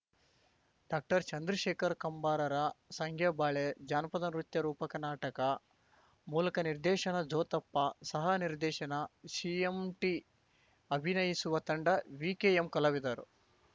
ಡಾಕ್ಟರ್ಚಂದ್ರಶೇಖರ್ ಕಂಬಾರರ ಸಂಗ್ಯಾಬಾಳ್ಯಾ ಜಾನಪದ ನೃತ್ಯ ರೂಪಕ ನಾಟಕ ಮೂಲಕ ನಿರ್ದೇಶನ ಜೋತಪ್ಪ ಸಹ ನಿರ್ದೇಶನ ಸಿಎಂಟಿ ಅಭಿನಯಿಸುವ ತಂಡ ವಿಕೆಎಂಕಲಾವಿದರು